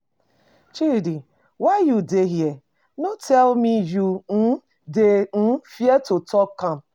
Chidi um why you dey here? No tell me you um dey um fear to talk to am